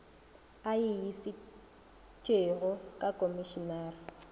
a e išitšego ga komišinare